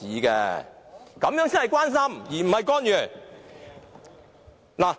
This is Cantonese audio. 這樣才是關心，而非干預。